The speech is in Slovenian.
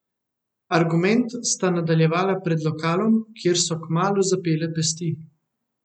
Argument sta nadaljevala pred lokalom, kjer so kmalu zapele pesti.